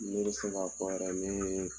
Ne bɛ se ka fɔ yɛrɛ ne ye